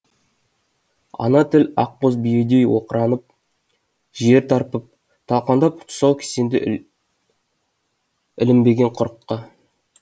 ана тіл ақ боз биедей оқыранып жер тарпып талқандап тұсау кісенді ілінбеген құрыққа